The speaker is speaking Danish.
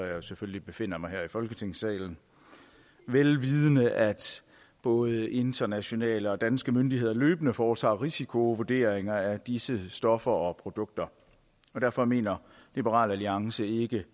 jeg selvfølgelig befinder mig her i folketingssalen vel vidende at både internationale og danske myndigheder løbende foretager risikovurderinger af disse stoffer og produkter derfor mener liberal alliance ikke